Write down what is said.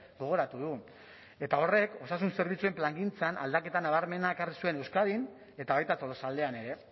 gogoratu du eta horrek osasun zerbitzuen plangintzan aldaketa nabarmena ekarri zuen euskadin eta baita tolosaldean ere